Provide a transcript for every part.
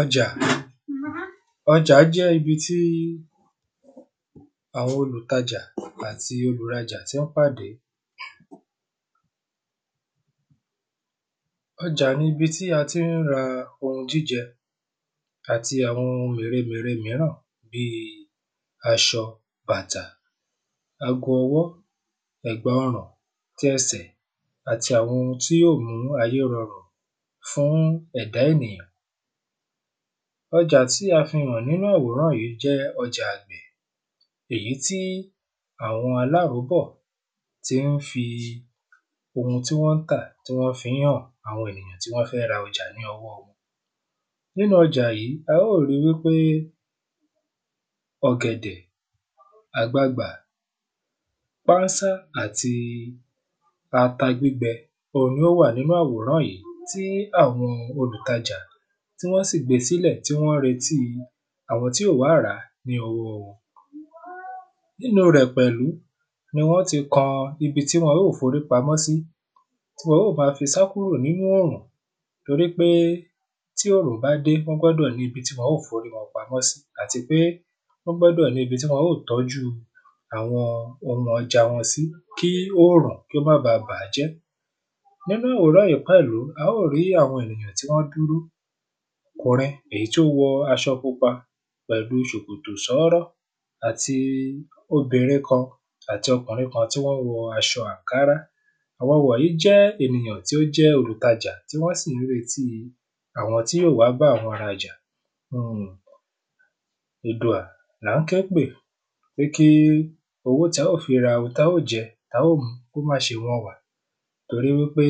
Ọjà. Ọjà jẹ́ ibi tí àwọn olùtajà ọ̀pọ̀ àti olùrajà tí ń pàdé. Ọjà ni ibi tí a tí ń ra óúnjẹ àti àwọn òhun mère mère míràn bí aṣọ bàtà ago ọwọ́ ẹ̀gbà ọrùn ti ẹsẹ̀ àti àwọn ohun tí yó mú ayé rọrun fún ẹ̀dá ènìyàn. Ọjà tí a fi hàn nínú àwòrán yìí jẹ́ ọjà èyí tí àwọn aláróbọ̀ tí wọ́n fi ohun tí wọ́n ń tà tí wọ́n fi ń hàn àwọn tí ó fẹ́ ra ọjà ní ọwọ́ wọn. Nínú ọjà yìí á ó rí wípé ọ̀gẹ̀dẹ̀ àgbagbà pánsá àti ata gbígbẹ ohun ni ó wà nínú àwòrán yìí tí àwọn olùtajà tí wọ́n sì gbé sílẹ̀ tí wọ́n ń retí àwọn tí yó wá rà ní ọwọ́ wọn. Nínú rẹ̀ pẹ̀lú ni wọn ti kọ ibi tí wọ́n yó forí pamọ́ sí tí wọ́n yó má fi sá kúrò nínú òrùn nítorípé tí òrùn bá dé wọ́n gbọ́dọ̀ ní ibi tí wọn ó forí pamọ́ sí àti pé wọ́n gbọ́dọ̀ ní ibi tí wọn ó tójú àwọn ohun ọjà wọn sí kí òrùn kí ó mọ́ ba bàájẹ́. Nínú àwòrán yìí pẹ̀lú á ó rí àwọn èyàn tí wọ́n dúró kùnrin èyí tí ó wọ aṣọ pupa pẹ̀lú ṣòkòtò ṣọ́rọ́ àti obìnrin kan àti ọkùnrin kan tí wọ́n wọ aṣọ ànkárá. àwọn wọ̀nyí jẹ́ ènìyàn tí ó jẹ́ olùtajà tí wọ́n sì ń retí àwọn tí yó wá bá wọn rajà nínú Èdùà là ń ké pè pé kí owó tá ó fi ra ohun tá ó jẹ tá ó mu kó má ṣe wọ́n wa torí wípé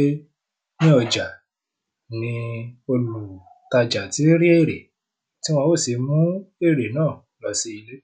ní ọjà ni olùtajà tí ń rí èrè tí wọ́n ó sì mú èrè náà lọ sí ilé.